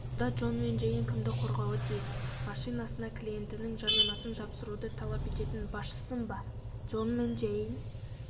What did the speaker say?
мұнда джон мен джейн кімді қорғауы тиіс машинасына клиентінің жарнамасын жапсыруды талап ететін басшысын ба джон мен джейн